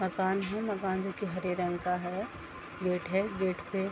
मकान है मकान देखिये हरे रंग का है | गेट है | गेट पे --